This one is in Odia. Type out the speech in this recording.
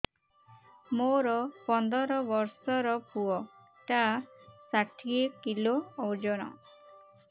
ମୋର ପନ୍ଦର ଵର୍ଷର ପୁଅ ଟା ଷାଠିଏ କିଲୋ ଅଜନ